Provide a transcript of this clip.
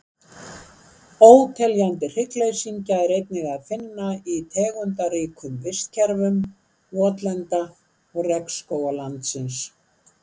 óteljandi hryggleysingja er einnig að finna í tegundaríkum vistkerfum votlenda og regnskóga landsins